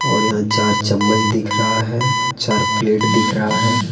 और यहां चार चम्मच दिख रहा है चार प्लेट दिख रहा है।